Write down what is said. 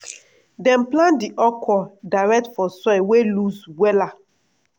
dem plant di okro direct for soil wey loose wella.